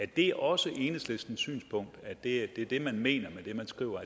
det også enhedslistens synspunkt at det er det man mener med det man skriver